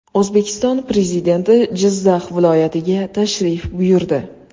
O‘zbekiston Prezidenti Jizzax viloyatiga tashrif buyurdi .